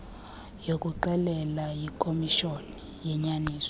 kuxolelwa yikomishoni yenyaniso